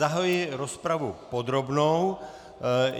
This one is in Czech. Zahajuji rozpravu podrobnou.